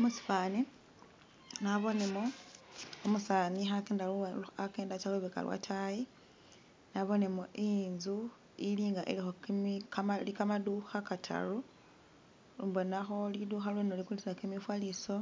musifaani, nabonemo umusaani hakenda atsya lubeka lwa taayi, nabonemu inzu ili nga iliho kimi kamali kamaduha kataru, mbonaho liduha lweno likulisa kimifaliso,